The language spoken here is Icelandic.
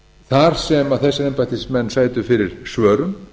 þar sem þessir embættismenn sætu fyrir svörum